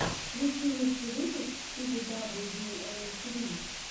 включи лучший выпуск спиди дабл ю оу фри